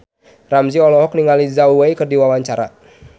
Ramzy olohok ningali Zhao Wei keur diwawancara